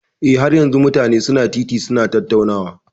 Eh, har yanzun mutane su na titi su na tattaunawa.